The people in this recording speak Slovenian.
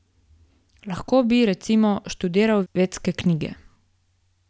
Lahko bi, recimo, študiral vedske knjige.